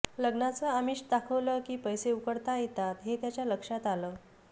लग्नाचं आमिष दाखवलं की पैसे उकळता येतात हे त्याच्या लक्षात आलं